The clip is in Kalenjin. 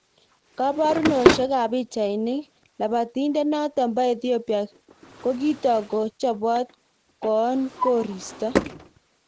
Kaparunoshek ap.pichainik, Lapatindet notok po Ethiopia kukitok ko chopot 'koon koristo'